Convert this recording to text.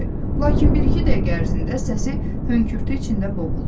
Lakin bir-iki dəqiqə ərzində səsi hönkürtü içində boğuldu.